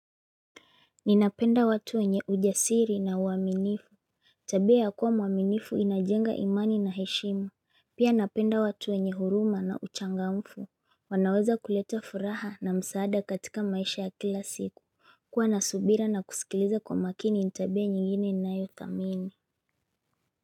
Ninapenda watu wenye ujasiri na uaminifu Tabia ya kuwa mwaminifu inajenga imani na heshima Pia napenda watu wenye huruma na uchangamfu wanaweza kuleta furaha na msaada katika maisha ya kila siku kuwa na subira na kusikiliza kwa makini ni tabia nyingine ninayothamini.